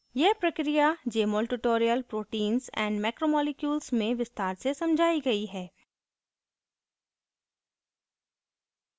यह प्रक्रिया jmol tutorial proteins and macromolecules में विस्तार में समझायी गयी है